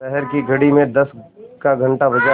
शहर की घड़ी में दस का घण्टा बजा